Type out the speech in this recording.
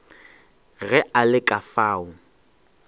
ge a le ka fao